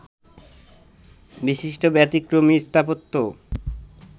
বিশিষ্ট ব্যতিক্রমী স্থাপত্য